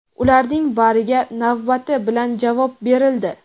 ularning bariga navbati bilan javob berildi.